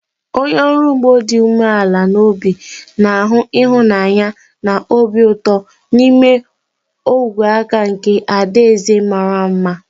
Onye ọrụ ugbo dị umeala n'obi na-ahụ ịhụnanya na obi ụtọ n'ime ogwe aka nke adaeze mara mma.